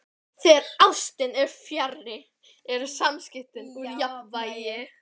Þegar ástin er fjarri eru samskiptin úr jafnvægi.